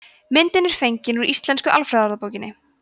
myndin er fengin úr íslensku alfræðiorðabókinni